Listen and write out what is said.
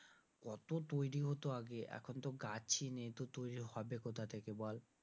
কত তৈরি হতো আগে এখন তো গাছই নেই তো তৈরি হবে কোথা থেকে বল?